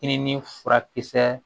I ni furakisɛ